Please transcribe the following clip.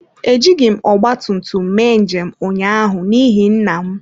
Ejighị m ọgba tum tum mee njem ụnyaahụ n’ihi nna m.